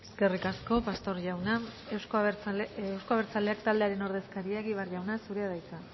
eskerrik asko pastor jauna euzko abertzaleak taldearen ordezkaria egibar jauna zurea da hitza